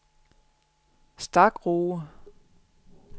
Stakroge